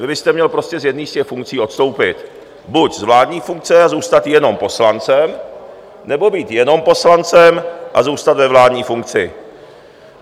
Vy byste měl prostě z jedné z těch funkcí odstoupit, buď z vládní funkce a zůstat jenom poslancem, nebo být jenom poslancem a zůstat ve vládní funkci.